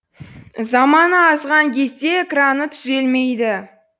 заманы азған кезде экраны түзелмейді